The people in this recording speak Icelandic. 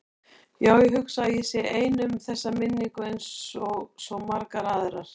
Já, ég hugsa að ég sé ein um þessa minningu einsog svo margar aðrar.